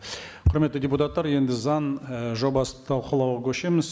құрметті депутаттар енді заң і жобасын талқылауға көшеміз